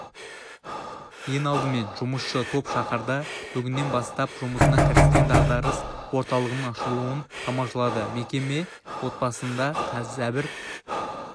ең алдымен жұмысшы топ шаһарда бүгіннен бастап жұмысына кіріскен дағдарыс орталығының ашылуын тамашалады мекеме отбасында зәбір